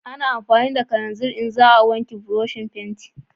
A na amfani da kananzir in za a wanke buroshin fenti